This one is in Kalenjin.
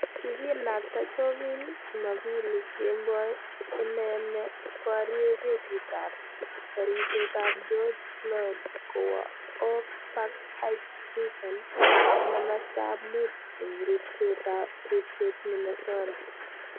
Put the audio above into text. Kikinakta Chauvin jumapili kemboi inei ne parye kesit ap parishet ap George Floyed kowa Oak Park Heights Prison-ne masto ap mut ing ripset Minnesota.